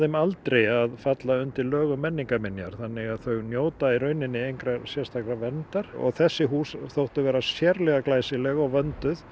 aldri að falla undir lög um menningarminjar þannig að þau njóta í raunninni engrar sérstakrar verndar þessi hús þóttu vera sérlega glæsileg og vönduð